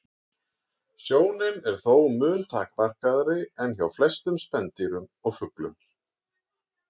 Sjónin er þó mun takmarkaðri en hjá flestum spendýrum og fuglum.